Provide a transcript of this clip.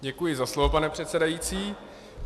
Děkuji za slovo, pane předsedající.